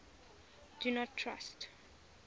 do not trust